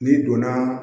N'i donna